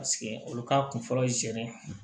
Paseke olu ka kun fɔlɔ